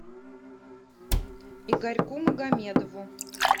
игорьку магомедову